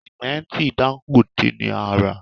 Sìmẹ́ǹtì Dangote ni a rà